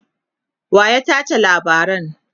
waya tace labaran?